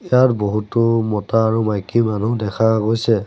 ইয়াত বহুতো মতা আৰু মাইকী মানুহ দেখা গৈছে।